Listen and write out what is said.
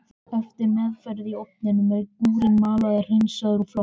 Eftir meðferð í ofninum er gúrinn malaður, hreinsaður og flokkaður.